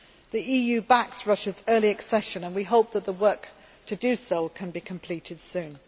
The EU backs Russia's early accession and we hope that the work to do so can be completed soon.